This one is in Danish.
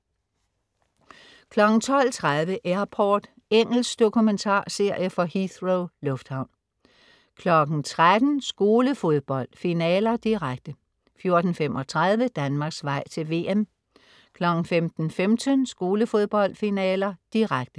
12.30 Airport. Engelsk dokumentarserie fra Heathrow lufthavn 13.00 Skolefodbold: Finaler, direkte 14.35 Danmarks vej til VM 15.15 Skolefodbold: Finaler, direkte